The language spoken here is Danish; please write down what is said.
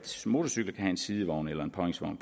motorcykler kan have en sidevogn eller en påhængsvogn